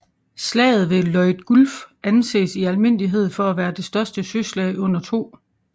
Slaget om Leyte Gulf anses i almindelighed for at være det største søslag under 2